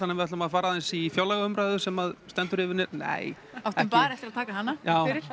við ætlum að fara aðeins í fjárlagaumræðu sem stendur yfir nei áttu bara eftir að taka hana já